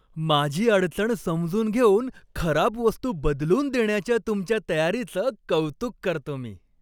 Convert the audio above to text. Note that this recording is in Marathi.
माझी अडचण समजून घेऊन खराब वस्तू बदलून देण्याच्या तुमच्या तयारीचं कौतुक करतो मी.